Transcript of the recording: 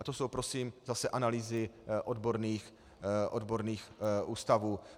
A to jsou prosím zase analýzy odborných ústavů.